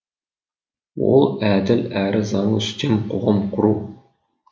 ол әділ әрі заңы үстем қоғам құру